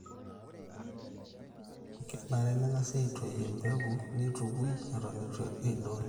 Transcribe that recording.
kenare nengasi aitoi embekunneitukui eton eitu eidongi